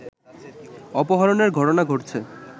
অপহরণের ঘটনা ঘটছে